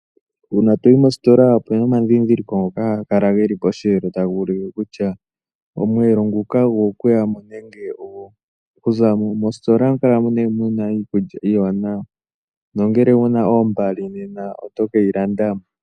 Uuna toyi mostola ohapu kala puna omadhidhiliko ngoka haga kala geli pomwelo, taga ulike kutya omwelo nguka ogo kuyamo nenge ogo ku zamo. Mostola ohamu kala muna iikulya iiwanawa nongele owuna ombali nena oto keyi landamo.